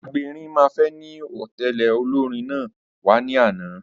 Agberin mẹ́fà ni ó tẹ̀lé olórin náà wá ní àná